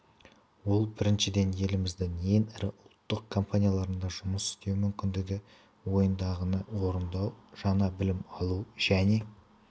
ол біріншіден еліміздің ең ірі ұлттық компанияларында жұмыс істеу мүмкіндігі ойыңдағыны орындау жаңа білім алу және